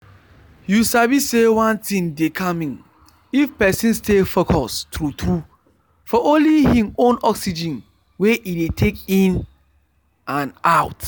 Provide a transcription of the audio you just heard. you sabi say one thing dey calming if person stay focus true true for only hin own oxygen wey e dey take in and out.